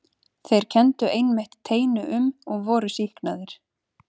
Þeir kenndu einmitt teinu um og voru sýknaðir.